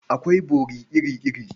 Akwai bori iri-iri.